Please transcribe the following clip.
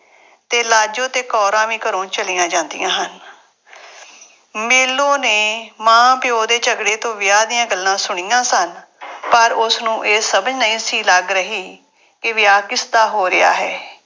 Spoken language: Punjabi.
ਤੇ ਲਾਜੋ ਤੇ ਕੌਰਾਂ ਵੀ ਘਰੋਂ ਚਲੀਆਂ ਜਾਂਦੀਆਂ ਹਨ। ਮੇਲੋਂ ਨੇ ਮਾਂ-ਪਿਉ ਦੇ ਝਗੜੇ ਤੋਂ ਵਿਆਹ ਦੀਆਂ ਗੱਲਾਂ ਸੁਣੀਆਂ ਸਨ। ਪਰ ਉਸਨੂੰ ਇਹ ਸਮਝ ਨਹੀਂ ਸੀ ਲੱਗ ਰਹੀ ਕਿ ਵਿਆਹ ਕਿਸਦਾ ਹੋ ਰਿਹਾ ਹੈ।